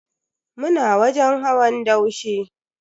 Muna wajen hawan daushe.